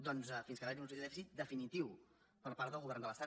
doncs fins que va haver hi un objectiu de dèficit definitiu per part del govern de l’estat